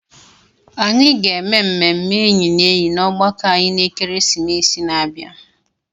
Anyị ga-eme mmemme enyi na enyi na ọgbakọ anyị na ekeresimesi na-abịa.